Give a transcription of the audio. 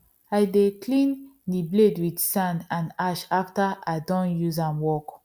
i dey clean the blade with sand and ash after i doh use am work